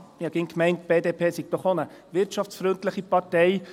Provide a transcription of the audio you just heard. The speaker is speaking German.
Ich habe immer gemeint, die BDP sei doch auch eine wirtschaftsfreundliche Partei.